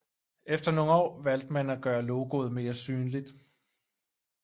Efter nogle år valgte man at gøre logoet mere synligt